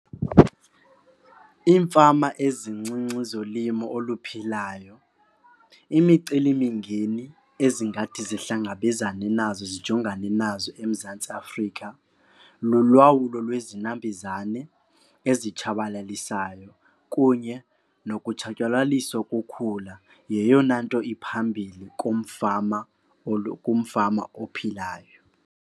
Iimfama ezincinci zolimo oluphilayo, imicelimingeni ezingathi zihlangabezane nazo zijongane nazo eMzantsi Afrika lulwawulo lwezinambuzane azitshabalalisayo kunye nokutshatyalaliswa kokhula. Yeyona nto iphambili kumfama kumfama ophilayo.